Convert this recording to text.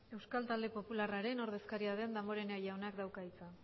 euskal talde popularraren ordezkaria den damborenea jaunak dauka hitza